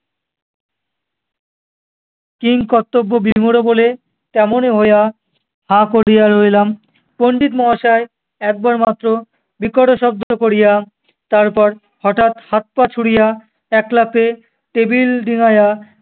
কিংকর্তব্যবিমূঢ় বলে তেমনি হইয়া হা করিয়া রইলাম! পণ্ডিত মহাশয় একবার মাত্র বিকট শব্দ করিয়া তারপর হঠাৎ হাত পা ছুঁড়িয়া একলাফে টেবিল ডিঙায়া-